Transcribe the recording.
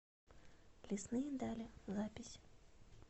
лесные дали запись